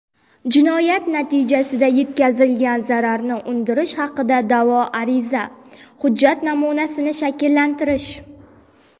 Jinoyat natijasida yetkazilgan zararni undirish haqida da’vo ariza | Hujjat namunasini shakllantirish.